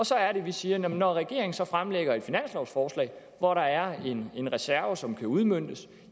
så er det vi siger når regeringen så fremsætter et finanslovsforslag hvor der er en reserve som kan udmøntes